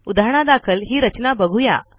उदाहरणादाखल ही रचना बघू या